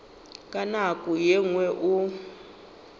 ka nako ye nngwe o